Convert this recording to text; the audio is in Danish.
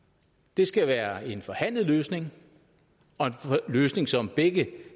det skal være en forhandlet løsning og en løsning som begge